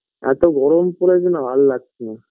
এতো গরম পরেছে না ভাল লাগছে না